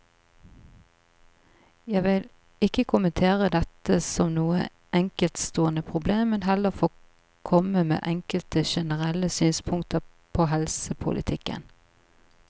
Jeg vil ikke kommentere dette som noe enkeltstående problem, men heller få komme med enkelte generelle synspunkter på helsepolitikken.